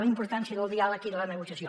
la importància del diàleg i de la negociació